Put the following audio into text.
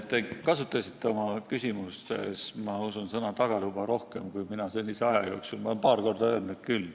Te kasutasite oma küsimuses, ma usun, sõna "tagatuba" rohkem kui mina senise aja jooksul, ehkki ma olen seda paar korda öelnud küll.